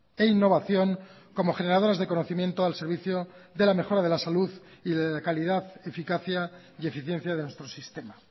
e innovación como generadoras de conocimiento al servicio de la mejora de la salud y de la calidad eficacia y eficiencia de nuestro sistema